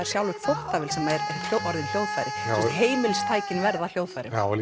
sjálfvirka þvottavél heimilistækin verða að hljóðfærum já og